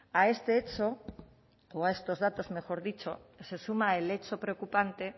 a este hecho o a estos datos mejor dicho se suma el hecho preocupante